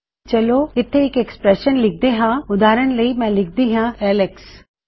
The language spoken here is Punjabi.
ਚਲੋ ਇਥੇ ਇੱਕ ਐੱਕਸਪ੍ਰੈਸ਼ਨ ਲਿਖਦੇ ਹਾਂ ਉਦਾਹਰਨ ਲਈ ਮੈਂ ਲਿਖਦੀ ਹਾਂ ਅਲੈਕਸ